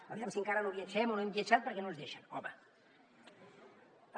aviam si encara no viatgem o no hem viatjat perquè no ens deixen home